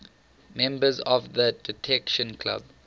members of the detection club